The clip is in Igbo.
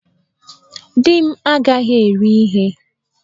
Di m agaghi eri ihe!